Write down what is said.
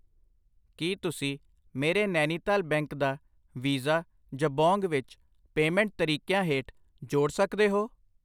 ਕਿ ਤੁਸੀਂ ਮੇਰੇ ਨੈਨੀਤਾਲ ਬੈਂਕ ਦਾ ਵੀਜ਼ਾ ਜਬੋਂਗ ਵਿੱਚ ਪੇਮੈਂਟ ਤਰੀਕਿਆਂ ਹੇਠ ਜੋੜ ਸਕਦੇ ਹੋ ?